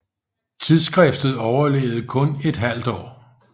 Tidsskriftet overlevede kun et halvt år